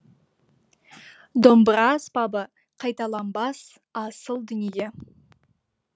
домбыра аспабы қайталанбас асыл дүние